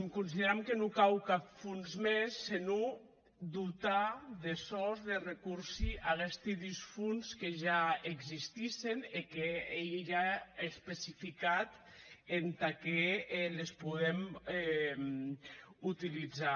consideram que non cau cap de fons mès senon dotar de sòus de recorsi aguesti dus fons que ja existissen e qu’ei ja especificat entà qué les podem utilizar